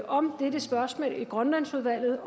om dette spørgsmål i grønlandsudvalget